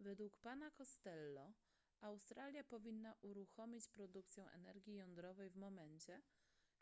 według pana costello australia powinna uruchomić produkcję energii jądrowej w momencie